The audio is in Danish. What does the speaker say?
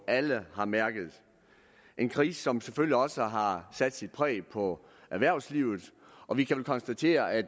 alle har mærket en krise som selvfølgelig også har sat sit præg på erhvervslivet og vi kan vel konstatere at